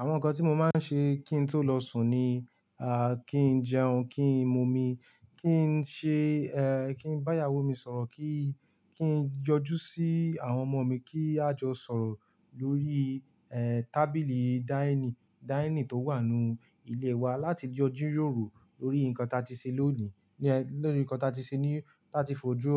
Àwọn nǹkan tí mo máa ń ṣe kí n tó lọ sùn ni, à, kí n jẹun, kí n mu omi, kí n ṣe, ẹ, kí n bá ìyàwó mi sọ̀rọ̀, kí, kí n yọjú sí àwọn ọmọ mi, kí a jọ sọ̀rọ̀ lórí, ẹ, tábìlì dining, dining tó wà nínú ilé wa láti jọ jíróòrò lórí nǹkan tí a ti ṣe lónìí. Lorìí nǹkan tí a ti ṣe ní táa ti fojú